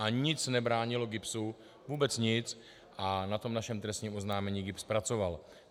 A nic nebránilo GIBS, vůbec nic, a na tom našem trestním oznámení GIBS pracoval.